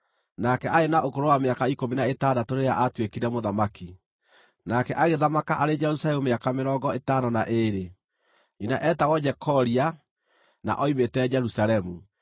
Nake aarĩ na ũkũrũ wa mĩaka ikũmi na ĩtandatũ rĩrĩa aatuĩkire mũthamaki, nake agĩthamaka arĩ Jerusalemu mĩaka mĩrongo ĩtano na ĩĩrĩ. Nyina eetagwo Jekolia, na oimĩte Jerusalemu.